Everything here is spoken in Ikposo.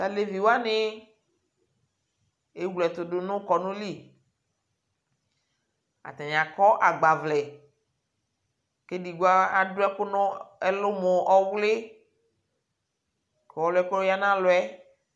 Tʋ evi wanɩ ewle ɛtʋ dʋ nʋ kɔnʋ li Atanɩ akɔ agbawlɛ Kʋ edigbo adʋ ɛkʋ nʋ ɛlʋ mʋ ɔwlɩ kʋ ɔlʋ yɛ kʋ ɔya nʋ alɔ yɛ